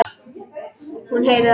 Hún heyrir það.